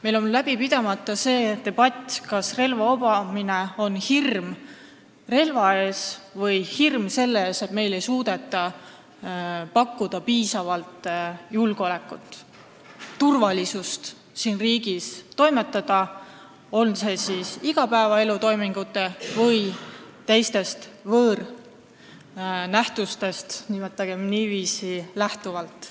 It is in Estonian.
Meil on pidamata see debatt, kas jutt käib hirmust relva ees või hirmust selle ees, et meile ei suudeta pakkuda piisavalt julgeolekut, turvalisust siin riigis toimetamisel kas siis igapäevatoimingutest või mingitest võõrnähtustest, nimetagem niiviisi, lähtuvalt.